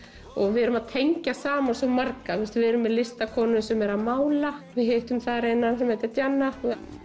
við erum að tengja saman svo marga við erum með listakonu sem er að mála hittum eina sem heitir Jenna